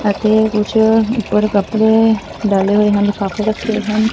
ਅਤੇ ਕੁੱਛ ਊਪਰ ਕੱਪੜੇ ਡਾਲੇ ਹੋਏ ਹਨ ਕੱਪ ਰੱਖੇ ਹਨ।